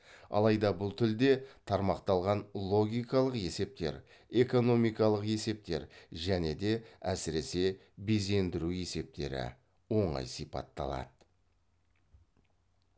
алайда бұл тілде тармақталған логикалық есептер экономикалық есептер және де әсіресе безендіру есептері оңай сипатталады